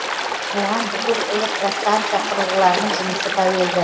оған бүкіл электростанса құрылғыларының жұмысы тәуелді